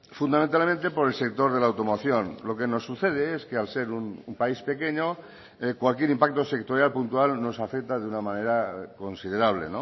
fundamentalmente por el sector de la automoción lo que nos sucede es que al ser un país pequeño cualquier impacto sectorial puntual nos afecta de una manera considerable